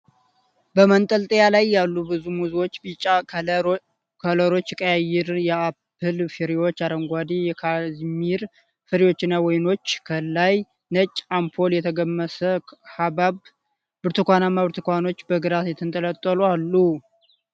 በመንጠልጠያ ላይ ያሉ ብዙ ሙዞች ቢጫ ከለሮች ፣ ቀያይ የአፕል ፍሬዎች ፣ አረንጓዴ የካዝሚር ፍሬዎች እና ወይኖች ፣ ከላይ ነጭ አምፖል ፣ የተገመሰ ኃባብ ፣ ብርቱካናማ ብርቱካኖች በግራ የተንጠለጠሉ አሉ ።